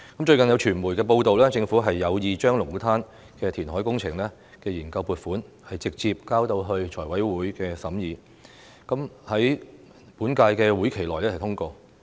最近，有傳媒報道，政府有意將龍鼓灘的填海工程研究撥款，直接交到財務委員會審議，在本屆會期內通過。